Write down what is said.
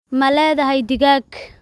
Ma leedahay digaag?